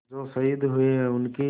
जो शहीद हुए हैं उनकी